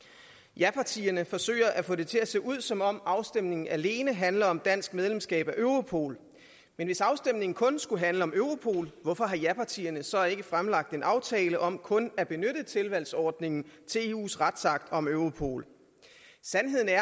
japartierne forsøger at få det til at se ud som om afstemningen alene handler om dansk medlemskab af europol men hvis afstemningen kun skulle handle om europol hvorfor har japartierne så ikke fremlagt en aftale om kun at benytte tilvalgsordningen til eus retsakt om europol sandheden er